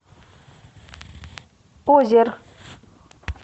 озер